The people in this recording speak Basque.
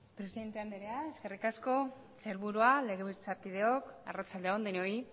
presidenta andrea eskerrik asko sailburuak legebiltzarkideok arratsalde on denoi